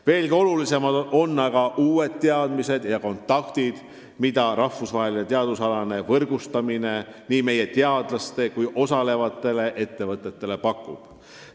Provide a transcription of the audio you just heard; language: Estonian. Veelgi olulisemad on aga uued teadmised ja kontaktid, mida rahvusvaheline teadusalane võrgustumine nii meie teadlastele kui ka osalevatele ettevõtetele pakub.